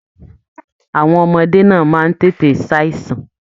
Àwọn ọmọdé náà máa n tètè ṣàìsàn.